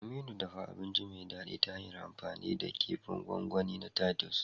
Aminu, dafa abinci mai daɗi ta hanyar amfani da kifin gwangwani na titus.